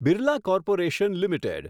Birla corporation limited